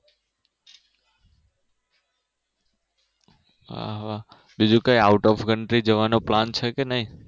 હા બીજું કઈ આવતા Season કઈ જવાનો Plan છે કે નહિ